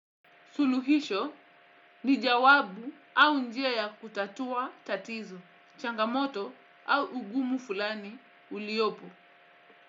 Suluhisho ni jawabu au njia ya kutatua tatizo, changamoto au ugumu fulani uliopo.